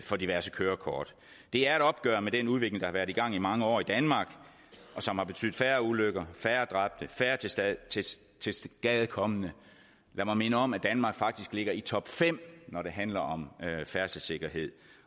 for diverse kørekort det er et opgør med den udvikling der har været i gang i mange år i danmark og som har betydet færre ulykker færre dræbte færre tilskadekomne lad mig minde om at danmark faktisk ligger i topfem når det handler om færdselssikkerhed